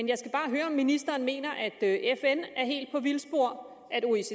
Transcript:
jeg skal bare høre om ministeren mener at at fn er helt på vildspor at oecd